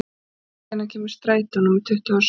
Hulda, hvenær kemur strætó númer tuttugu og sex?